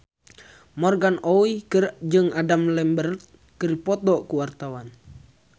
Morgan Oey jeung Adam Lambert keur dipoto ku wartawan